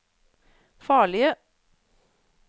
farlige